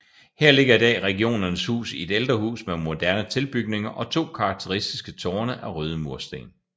Her ligger i dag Regionernes Hus i et ældre hus med moderne tilbygninger og to karakteristiske tårne af røde mursten